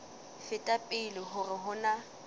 feta pele hore ho na